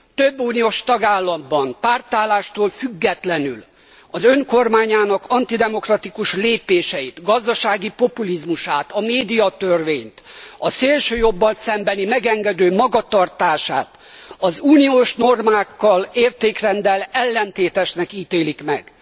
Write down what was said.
Több uniós tagállamban, pártállástól függetlenül, az Ön kormányának antidemokratikus lépéseit, gazdasági populizmusát, a médiatörvényt, a szélsőjobboldali megengedő magatartását az uniós normákkal, értékrenddel ellentétesnek ítélik meg.